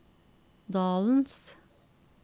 dalens